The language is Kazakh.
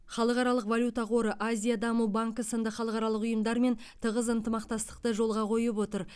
халықаралық валюта қоры азия даму банкі сынды халықаралық ұйымдармен тығыз ынтымақтастықты жолға қойып отыр